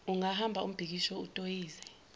ungabamba umbhikisho utoyize